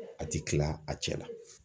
A ti kila a cɛ la!